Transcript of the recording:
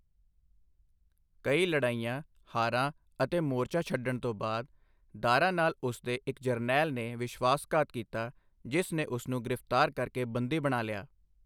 ਕਈ ਲੜਾਈਆਂ, ਹਾਰਾਂ ਅਤੇ ਮੋਰਚਾ ਛੱਡਣ ਤੋਂ ਬਾਅਦ, ਦਾਰਾ ਨਾਲ ਉਸਦੇ ਇੱਕ ਜਰਨੈਲ ਨੇ ਵਿਸ਼ਵਾਸਘਾਤ ਕੀਤਾ, ਜਿਸ ਨੇ ਉਸਨੂੰ ਗ੍ਰਿਫਤਾਰ ਕਰਕੇ ਬੰਦੀ ਬਣਾ ਲਿਆ।